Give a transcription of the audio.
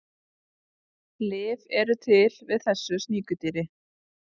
Lyf eru til við þessu sníkjudýri.